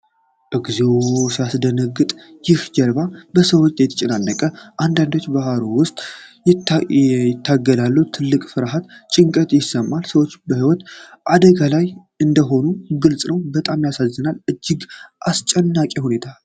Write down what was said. እግዚኦ ሲያስደነግጥ! ይህች ጀልባ በሰዎች ተጨናንቃለች ፤ አንዳንዶቹም በባህሩ ውስጥ ይታገላሉ። ትልቅ ፍርሃትና ጭንቀት ይሰማል። ሰዎች የህይወት አደጋ ላይ እንደሆኑ ግልጽ ነው፤ በጣም ያሳዝናል! እጅግ አስጨናቂ ሁኔታ።